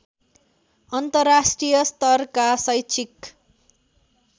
अन्तर्राष्ट्रिय स्तरका शैक्षिक